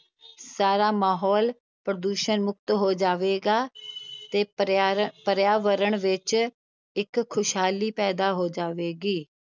ਸਾਰਾ ਮਾਹੌਲ ਪ੍ਰਦੂਸ਼ਣ ਮੁੱਕਤ ਹੋ ਜਾਵੇਗਾ ਤੇ ਪਰਿਆਰ~ ਪਰਿਆਵਰਣ ਵਿੱਚ ਇੱਕ ਖ਼ੁਸ਼ਹਾਲੀ ਪੈਦਾ ਹੋ ਜਾਵੇਗੀ।